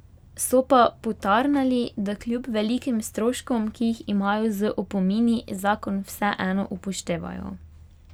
So pa potarnali, da kljub velikim stroškom, ki jih imajo z opomini, zakon vseeno upoštevajo.